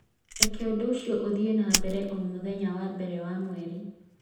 Reke ũndũ ũcio ũthiĩ na mbere o mũthenya wa mbere wa mweri